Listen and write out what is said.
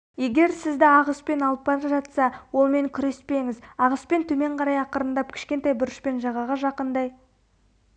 егер сізді ағыспен алып бара жатса олмен күреспеңіз ағыспен төмен қарай ақырындап кішкентай бұрышпен жағаға жақындай